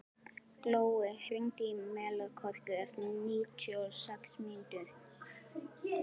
Glói, hringdu í Melkorku eftir níutíu og sex mínútur.